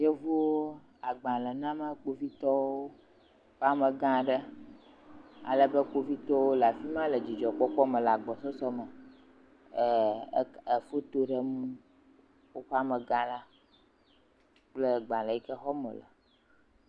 Yevuwo agbale nam kpovitɔwo ƒe amegã aɖe ale be kpovitɔwo le afi ma le dzidzɔkpɔkpɔ me le agbɔsɔsɔ me e e foto ɖem woƒe amegã la kple agbale yi ke xɔm wole.